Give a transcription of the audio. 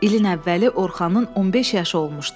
İlin əvvəli Orxanın 15 yaşı olmuşdu.